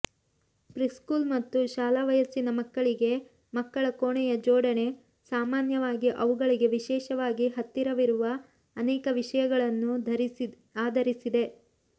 preschool ಮತ್ತು ಶಾಲಾ ವಯಸ್ಸಿನ ಮಕ್ಕಳಿಗೆ ಮಕ್ಕಳ ಕೋಣೆಯ ಜೋಡಣೆ ಸಾಮಾನ್ಯವಾಗಿ ಅವುಗಳಿಗೆ ವಿಶೇಷವಾಗಿ ಹತ್ತಿರವಿರುವ ಅನೇಕ ವಿಷಯಗಳನ್ನು ಆಧರಿಸಿದೆ